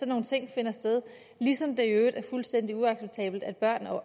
nogle ting finder sted ligesom det i øvrigt er fuldstændig uacceptabelt at børn